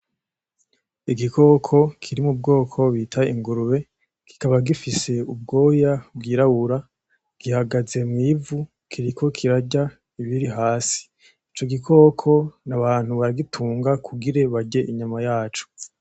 Igikoko kiri mu bwoko bita ingurube. Kikaba gifise ubwoya bwirabura. Gihagaze mw'ivu kiriko kirarya ibiri hasi. Ico gikoko abantu baragitunga kugira barye inyama yaco